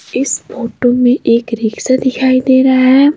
इस फोटो में एक रिक्शा दिखाई दे रहा है।